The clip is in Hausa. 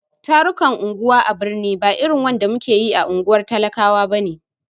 Tarukan unguwa a birni ba irin wanda muke yi a unguwar talakawa bane.